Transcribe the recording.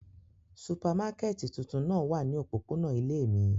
Supamakẹti tuntun náa wa ni opopona ile mi.